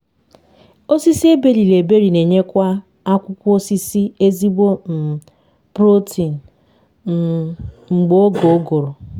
osisi eberiri eberi n’enyekwa akwụkwọ osisi ezigbo um protein um mgbe oge ụgụrụ